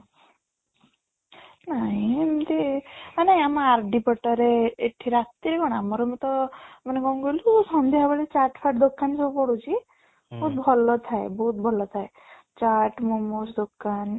ନାଇଁ ଏମିତି ମାନେ ଆମ RD ପଟରେ ଏଠି ରାତିରେ କ'ଣ ଆମ room ତ ମାନେ କଣ କହିଲୁ ସନ୍ଧ୍ୟା ବେଳେ chat ଫାଟ ଦୋକାନ ସବୁ ପଡୁଛି ଭଲ ଥାଏ ବହୁତ ଭଲ ଥାଏ chat momos ଦୋକାନ